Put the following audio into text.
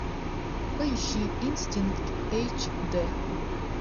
поищи инстинкт эйч д